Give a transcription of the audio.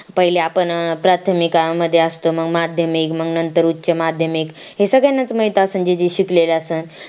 पहिले आपण प्राथमिकामध्ये असतो मग माध्यमिक मग नंतर उचमध्यमिक हे सगळ्यांना च माहित असेल जे जे शिकलेले असेल